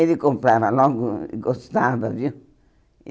Ele comprava logo e gostava, viu?